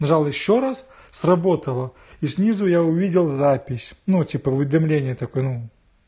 взял ещё раз сработала и снизу я увидел запись ну типа уведомление такое